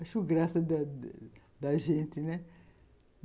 Acho graça da da gente.